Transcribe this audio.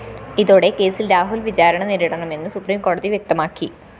ഇതോടെ കേസില്‍ രാഹുല്‍ വിചാരണ നേരിടണമെന്ന് സുപ്രീംകോടതി വ്യക്തമാക്കി